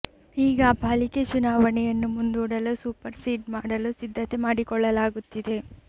ಈಗ ಪಾಲಿಕೆ ಚುನಾವಣೆಯನ್ನು ಮುಂದೂಡಲು ಸೂಪರ್ ಸೀಡ್ ಮಾಡಲು ಸಿದ್ಧತೆ ಮಾಡಿಕೊಳ್ಳಲಾಗುತ್ತಿದೆ